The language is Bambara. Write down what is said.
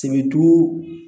Sebetu